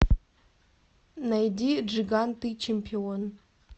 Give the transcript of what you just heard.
найди джиган ты чемпион